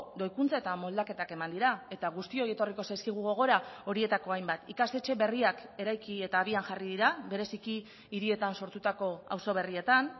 doikuntza eta moldaketak eman dira eta guztioi etorriko zaizkigu gogora horietako hainbat ikastetxe berriak eraiki eta abian jarri dira bereziki hirietan sortutako auzo berrietan